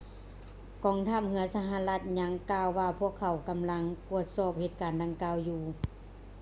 ກອງທັບເຮືອສະຫະລັດຍັງກ່າວວ່າພວກເຂົາກຳລັງກວດສອບເຫດການດັ່ງກ່າວຢູ່